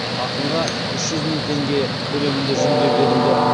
ақынға үш жүз мың теңге көлемінде жүлде берілді